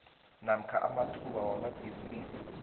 namkha amathuba wamabhisimisi